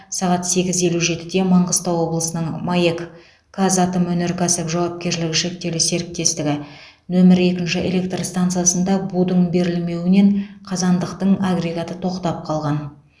сағат сегіз елу жетіде маңғыстау облысының маэк қазатомөнеркәсіп жауапкершілігі шектеулі серіктестігі нөмір екінші электр стансасында будың берілмеуінен қазандықтың агрегаты тоқтап қалған